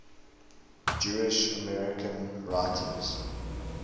jewish american writers